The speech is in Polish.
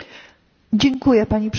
Pani Przewodnicząca!